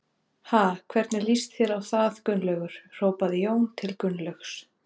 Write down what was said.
Ha, hvernig líst þér á það Gunnlaugur? hrópaði Jón til Gunnlaugs.